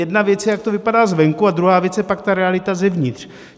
Jedna věc je, jak to vypadá zvenku a druhá věc je pak ta realita zevnitř.